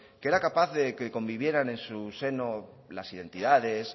que era capaz de que convivieran en su seno las identidades